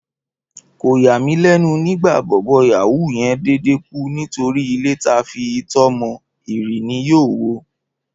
Kò yà mí lẹ́nu nígbà bọ̀bọ́ yàwúù yen dédé kú nítorí ilé ta fi itọ́ mọ, ìrì ni yóò wo